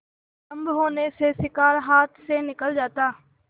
विलम्ब होने से शिकार हाथ से निकल जाता